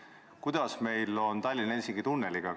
Kuidas meil on siis Tallinna–Helsingi tunneliga?